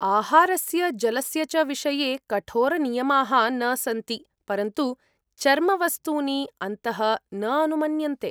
आहारस्य जलस्य च विषये कठोरनियमाः न सन्ति, परन्तु चर्मवस्तूनि अन्तः न अनुमन्यन्ते।